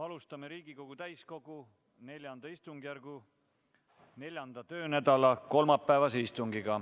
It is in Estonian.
Alustame Riigikogu täiskogu IV istungjärgu 4. töönädala kolmapäevast istungit.